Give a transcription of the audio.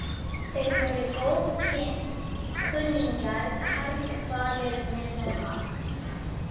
En af hverju gengur fólk á Esjuna?